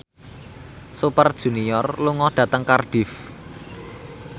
Super Junior lunga dhateng Cardiff